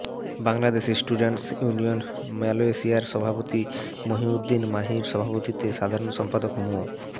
Bangladeshi students union মালয়েশিয়ার সভাপতি মহিউদ্দীন মাহির সভাপতিত্বে সাধারণ সম্পাদক মো